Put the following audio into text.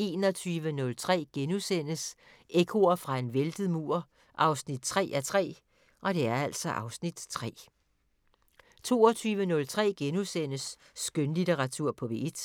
21:03: Ekkoer fra en væltet mur 3:3 (Afs. 3)* 22:03: Skønlitteratur på P1 *